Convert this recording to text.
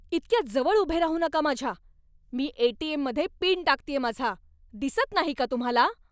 इतक्या जवळ उभे राहू नका माझ्या! मी एटीएममध्ये पिन टाकतेय माझा, दिसत नाही का तुम्हाला?